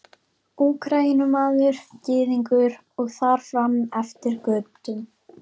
Úkraínumaður, Gyðingur og þar fram eftir götum.